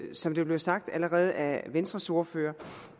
som det blev sagt allerede af venstres ordfører